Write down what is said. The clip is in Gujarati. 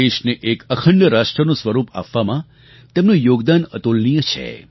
દેશને એક અખંડ રાષ્ટ્રનું સ્વરૂપ આપવામાં તેમનું યોગદાન અતુલનીય છે